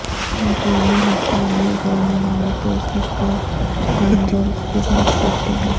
مقامی ہسپانوی بولنے والے تیز رفتار گونزیلز کی بات کرتے ہیں